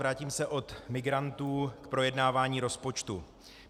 Vrátím se od migrantů k projednávání rozpočtu.